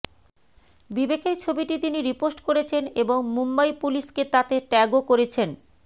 বিবেকের ছবিটি তিনি রিপোস্ট করেছেন এবং মুম্বাই পুলিশকে তাতে ট্যাগও করেছেন